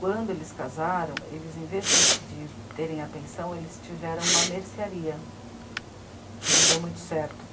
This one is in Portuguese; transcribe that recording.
Quando eles casaram, eles, em vez de de terem a pensão, eles tiveram uma mercearia, que não deu muito certo.